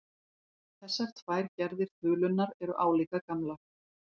Þessar tvær gerðir þulunnar eru álíka gamlar.